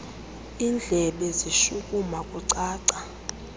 indlebe zishukuma kucaca